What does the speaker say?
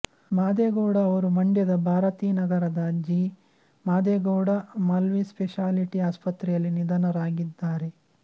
ಮಾದೇಗೌಡ ಅವರು ಮಂಡ್ಯದ ಭಾರತೀನಗರದ ಜಿ ಮಾದೇಗೌಡ ಮಲ್ಟಿಸ್ಪೆಷಾಲಿಟಿ ಆಸ್ಪತ್ರೆಯಲ್ಲಿ ನಿಧನರಾಗಿದ್ದಾರೆ